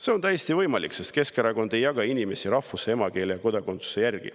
See on täiesti võimalik, sest Keskerakond ei jaga inimesi rahvuse, emakeele ja kodakondsuse järgi.